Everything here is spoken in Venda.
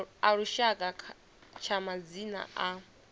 a lushaka tsha madzina a